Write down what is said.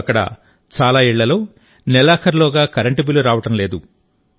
ఇప్పుడు అక్కడ చాలా ఇళ్లలో నెలాఖరులోగా కరెంటు బిల్లు రావడం లేదు